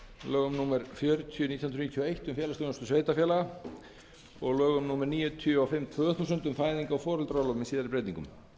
lögum númer fjörutíu nítján hundruð níutíu og eitt um félagsþjónustu sveitarfélaga og lögum númer níutíu og fimm tvö þúsund um fæðingar og foreldraorlof með síðari breytingum